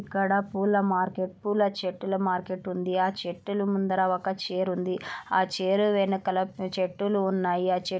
ఇక్కడ పూల మార్కెట్ పూల చెట్టుల మార్కెట్ ఉంది ఆ చెట్టుల ముందర ఒక చైర్ ఆ చైర్ వెనకల చెట్టులు ఉన్నాయ.